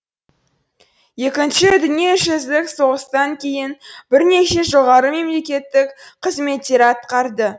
екінші дүниежүзілік соғыстан кейін бірнеше жоғары мемлекеттік қызметтер атқарды